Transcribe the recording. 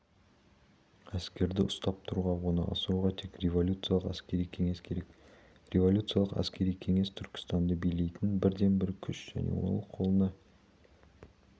әскерді ұстап тұруға оны асырауға тек революциялық әскери кеңес керек революциялық әскери кеңес түркістанды билейтін бірден-бір күш және ол қолына